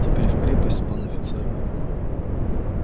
теперь в крепость пан офицер